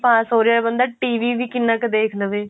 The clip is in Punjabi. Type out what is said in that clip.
pass ਹੋ ਰਿਹਾ ਬੰਦਾ TVਵੀ ਕਿੰਨਾ ਕ ਦੇਖ ਲਵੇ